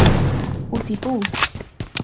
Út í búð?